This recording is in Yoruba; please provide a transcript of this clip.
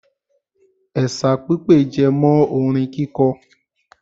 Ẹ̀sà pipè jẹmọ́ orin kíkọ.